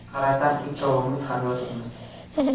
Qarasam uchovimiz ham yotibmiz.